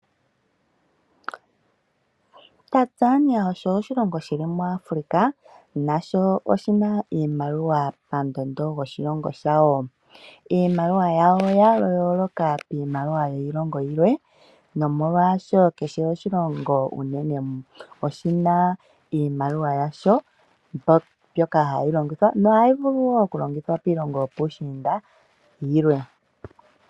Tanzania osho oshilongo shili muAfrica. Nasho oshina oshimaliwa pandondo yo shosilongo shawo. Iimaliwa yawo oya yoloka kiimaliwa yiilongo yilwe. Nomolwasho kehe oshilongo unene oshina iimaliwa yasho mbyoka hayi longithwa. Nohayi vulu wo oku longithwa miilongo yopuushinda yilwe.